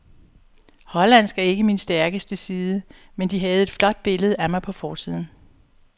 Hollandsk er ikke min stærkeste side, men de havde et flot billede af mig på forsiden.